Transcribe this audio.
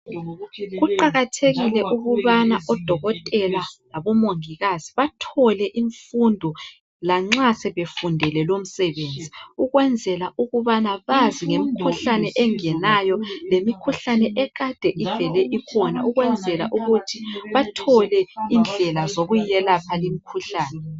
Kuqakathekile ukubana odokotela labomongikazi bathole imfundo lanxa sebefundele lomsebenzi ukwenzela ukubana bazi ngemikhuhlane engenayo kemikhuhlane ekade ivele ikhona ukwenzela ukuthi bathole indlela zokuyiyelapha.